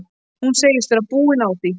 Hún segist vera búin að því.